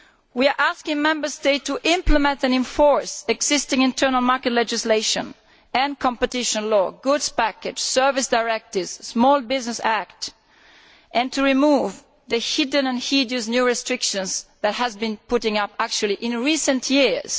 We are asking Member States to implement and enforce existing internal market legislation and competition law, goods packages, service directives, the Small Business Act and to remove the hidden and hideous new restrictions that have been put up in recent years.